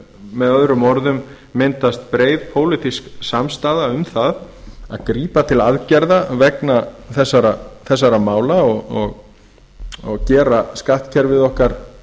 með öðrum orðum myndast breið pólitísk samstaða um að grípa til aðgerða vegna þessara mála og gera skattkerfið okkar